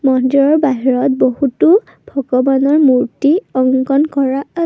মন্দিৰৰ বাহিৰত বহুতো ভগবানৰ মূৰ্ত্তি অংকন কৰা আ--